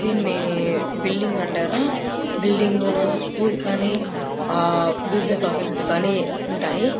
దీన్ని బిల్డింగ్ అంటారు బిల్డింగ్ లో స్కూల్ కానీ ఆహ్ బిజినెస్ ఆఫీసెస్ కాని ఉంటాయి.